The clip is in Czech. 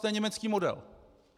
To je německý model.